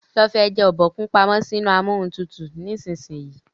lo fí eja Obokun pàmò sí inú Amóhuntutù nísìsiyìí!